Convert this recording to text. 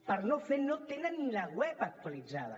per no fer no tenen ni la web actualitzada